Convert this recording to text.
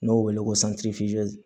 N'o wele ko